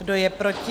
Kdo je proti?